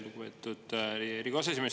Lugupeetud Riigikogu aseesimees!